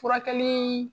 Furakɛli